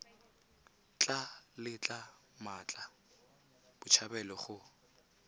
tla letla mmatla botshabelo go